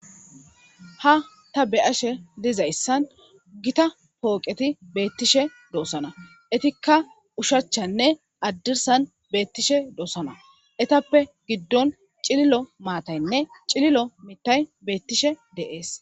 Ha ta be7ashe dizayssan gita pooqeti beettishe doosana etikka ushachanne haddirsan beettishe doosana etappe giddon cililo maataynne cililo mitay beettishe de7es.